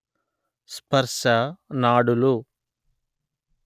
స్పర్శ నాడులు